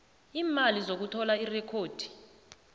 iimali zokuthola irekhodi